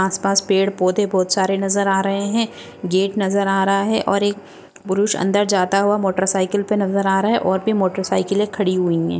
आसपास पेड पौधे बहुत सारे नजर आ रहे है गेट नजर आ रहा है और एक पुरुष अंदर जाता हुआ मोटर साइकील पे नजर आ रहा है और भी मोटर साइकीले खडी हुई है।